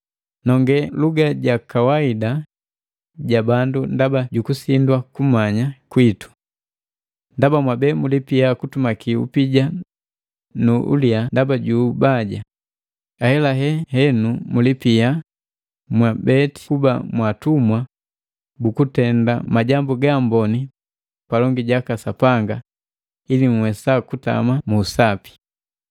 Nonge luga jakawaida ja bandu ndaba jukusindwa kumanya kwitu. Ndaba mwabe mulipia kutumaki upija nu ulia ndaba ju ubaja, ahelahela henu mulipia mwabeti kuba mwaatumwa bukutenda majambu gaamboni palongi jaka Sapanga ili nhuwesa kutama mu usapi.